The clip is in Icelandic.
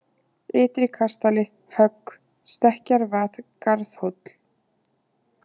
Ytri-Kastali, Högg, Stekkjarvað, Garðhóll